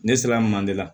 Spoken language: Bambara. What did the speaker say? Ne sera manden la